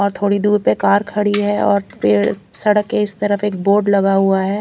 और थोड़ी दूर पे कार खड़ी है और पेड़ सड़क के इस तरफ एक बोर्ड लगा हुआ है।